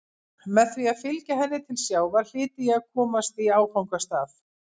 Með því að fylgja henni til sjávar hlyti ég að komast í áfangastað.